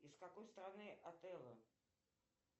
из какой страны отелло